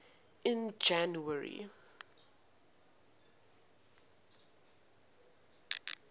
in january